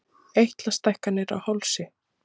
Eitlastækkanir á hálsi.